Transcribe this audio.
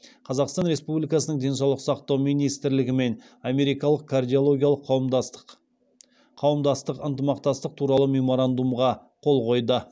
қазақстан республикасының денсаулық сақтау министрлігі мен америкалық кардиологиялық қауымдастық ынтымақтастық туралы меморандумға қол қойды